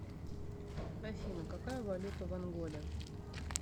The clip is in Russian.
афина какая валюта в анголе